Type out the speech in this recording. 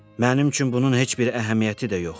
Mənim üçün bunun heç bir əhəmiyyəti də yoxdur.